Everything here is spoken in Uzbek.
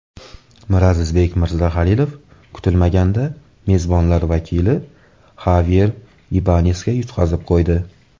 Mirazizbek Mirzahalilov kutilmaganda mezbonlar vakili Xavyer Ibanesga yutqazib qo‘ydi.